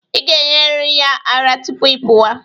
Ị ga-enyeriri ya ara tupu ị pụwa.